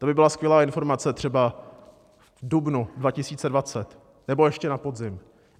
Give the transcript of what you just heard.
To by byla skvělá informace třeba v dubnu 2020 nebo ještě na podzim.